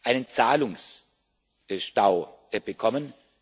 einen Zahlungsstau bekommen.